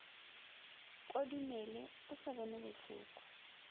kodimele o sa bone bohloko